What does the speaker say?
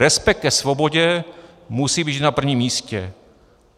Respekt ke svobodě musí být vždy na prvním místě.